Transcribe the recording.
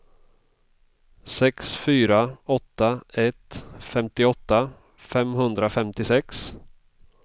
sex fyra åtta ett femtioåtta femhundrafemtiosex